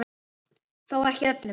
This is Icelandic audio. Þó ekki öllum.